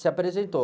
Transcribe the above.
Se apresentou.